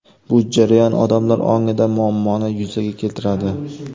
Bu jarayon odamlar ongida muammoni yuzaga keltiradi.